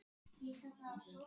okkur dytti það aldrei í hug.